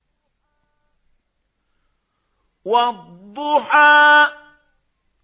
وَالضُّحَىٰ